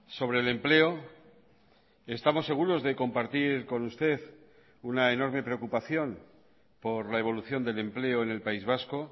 sobre el empleo estamos seguros de compartir con usted una enorme preocupación por la evolución del empleo en el país vasco